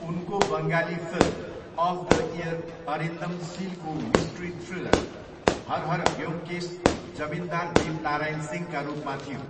उनको Bengali film of the year Arindam सिलको mystery thriller Har Har Byomkesh जमिनदार दीपनारायण सिंहका रूपमा थियो।